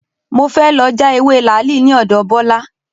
Mo fẹ́ lọ já ewé làálì ní ọ̀dọ̀ Bọ́lá